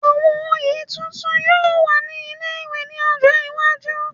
Àwọn oyè tuntun yóò wà ní ilé-ìwé ní ọjọ́ iwájú